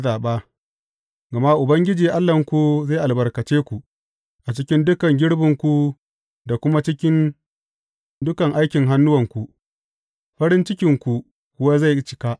Gama Ubangiji Allahnku zai albarkace ku a cikin dukan girbinku da kuma cikin dukan aikin hannuwanku, farin cikinku kuwa zai cika.